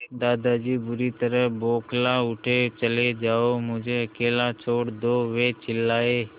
दादाजी बुरी तरह बौखला उठे चले जाओ मुझे अकेला छोड़ दो वे चिल्लाए